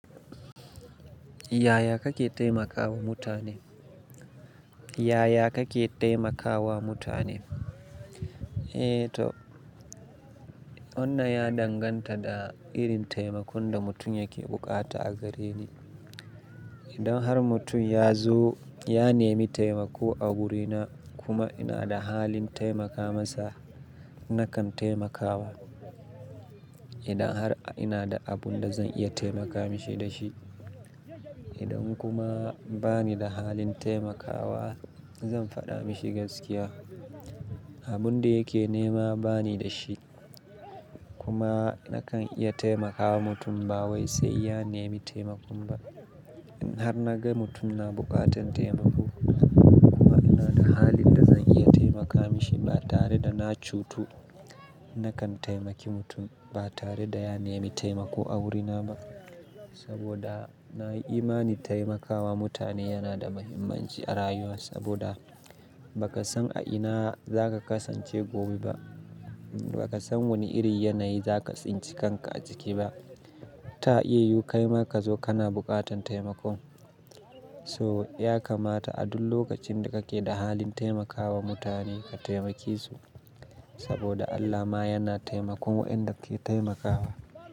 Yaya kake taimakawa mutane? Yaya kake taimakawa mutane? Eh to, wannan ya danganta da irin taimakon da mutum yake buƙata a gare ni. Idan har mutum ya zo ya nemi taimako a wurina kuma ina da halin taimaka masa, nakan taimakawa. Idan har ina da abun da zan iya taimaka mishi da shi. Idan kuma bani da halin taimakawa, zan faɗa mishi gaskiya. Abun da yake nema bani da shi kuma nakan iya taimakawa mutum ba wai sai ya nemi taimako ba. In har naga mutum na bukatan taimako kuma ina da halin da zan iya taimaka mishi ba tare da na cutu, nakan taimaki mutum ba tare da ya nemi taimako a wurina ba. Saboda na yi imani taimakawa mutane yana da muhimmanci a rayuwa. Saboda ba ka san a ina zaka kasance gobe ba. Ba ka san wani irin yanayi zaka tsinci kanka a ciki ba. Ta iya yiwu kaima ka zo kana buƙatan taimako, so ya kamata a duk lokacin da kake da halin taimakawa mutane ka taimake su. Saboda Allah ma yana taimakon wa'inda ke taimakawa.